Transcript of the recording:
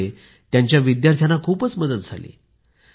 यामुळे त्यांच्या विद्यार्थ्यांना खूप मदत झाली